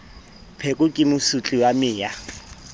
pheko ke mosotli wa meya